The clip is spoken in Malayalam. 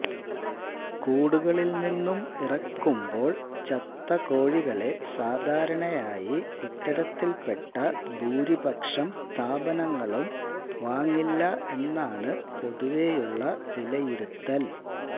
കൂടുകളിൽ നിന്നും ഇറക്കുമ്പോൾ ചത്തകോഴികളെ സാധാരണയായി ഇത്തരത്തിൽപ്പെട്ട ഭൂരിപക്ഷം സ്ഥാപനങ്ങളും വാങ്ങില്ല എന്നാണ് പൊതുവെയുള്ള വിലയിരുത്തൽ